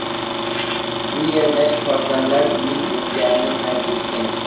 U yerda shifokorlar uning o‘lganini qayd etgan.